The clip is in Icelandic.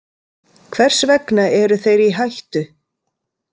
Hvers vegna eru þeir í hættu?